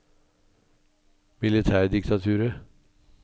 militærdiktaturet